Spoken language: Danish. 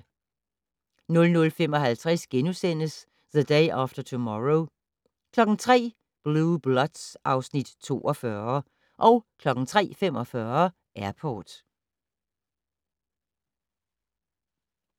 00:50: The Day After Tomorrow * 03:00: Blue Bloods (Afs. 42) 03:45: Airport